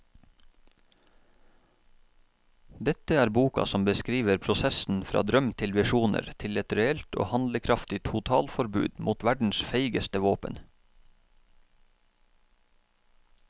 Dette er boka som beskriver prosessen fra drøm til visjoner til et reelt og handlekraftig totalforbud mot verdens feigeste våpen.